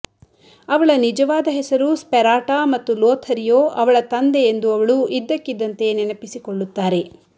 ಅವಳ ನಿಜವಾದ ಹೆಸರು ಸ್ಪೆರಾಟಾ ಮತ್ತು ಲೋಥರಿಯೊ ಅವಳ ತಂದೆ ಎಂದು ಅವಳು ಇದ್ದಕ್ಕಿದ್ದಂತೆ ನೆನಪಿಸಿಕೊಳ್ಳುತ್ತಾರೆ